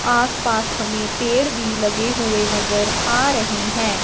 आसपास हमें पेड़ भी लगे हुए नजर आ रहें हैं।